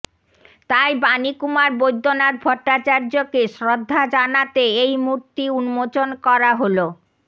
তাই বাণীকুমার বৈদ্যনাথ ভট্টাচার্যকে শ্রদ্ধা জানাতে এই মূর্তি উন্মোচন করা হল